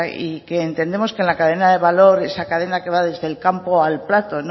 y que entendemos que la cadena de valor esa cadena que va desde el campo al plato